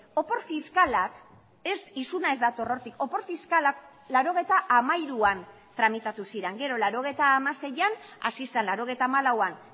opor fiskalak ez isuna ez dator hortik opor fiskalak laurogeita hamairuan tramitatu ziren gero laurogeita hamaseian hasi zen laurogeita hamalauan